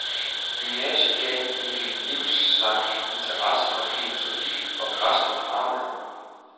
Gymnasiet gav hende en livslang interesse for filosofi og græske dramaer.